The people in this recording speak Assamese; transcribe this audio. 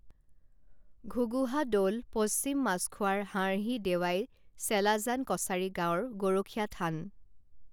ঘুগুহা দৌল পশ্চিম মাছখোৱাৰ হাৰ্হি দেৱায় চেলাজান কছাৰী গাঁৱৰ গৰখীয়া থান